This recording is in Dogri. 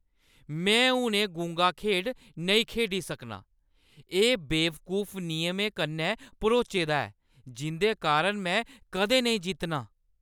में हून एह् गुंगा खेढ नेईं खेढी सकनां। एह् बेवकूफ नियमें कन्नै भरोचे दा ऐ जिंʼदे कारण में कदें नेईं जित्तनां।